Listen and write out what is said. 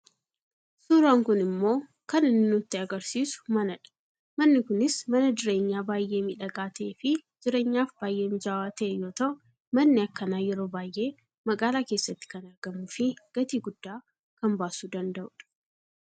Suuraan kun ammoo kan inni nutti agarsiisu manadha manni kunis mana jureenyaa baayyee miidhagaa ta'eefi jireenyaaf baayyee mijaawwaa ta'e yoo ta'u manni akkanaa yeroo baayyee magaalaa keessatti kan argamuufi gatii guddaa kan baasuu danda'udha.